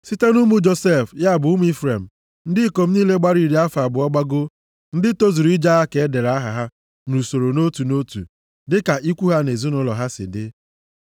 Site nʼụmụ Josef, ya bụ ụmụ Ifrem, ndị ikom niile gbara iri afọ abụọ gbagoo, ndị tozuru ije agha ka e dere aha ha nʼusoro nʼotu nʼotu dịka ikwu ha na ezinaụlọ ha si dị.